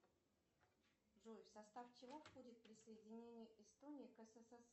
джой в состав чего входит присоединение эстонии к ссср